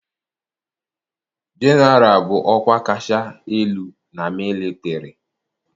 Jeneralụ bụ ọkwa kacha elu na mịlịtarị.